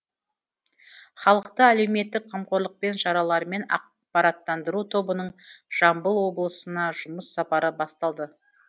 халықты әлеуметтік қамқорлықпен шараларымен ақпараттандыру тобының жамбыл облысына жұмыс сапары басталды